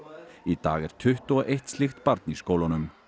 í dag er tuttugu og eitt slíkt barn í skólunum